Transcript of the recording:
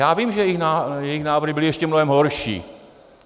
Já vím, že jejich návrhy byly ještě mnohem horší.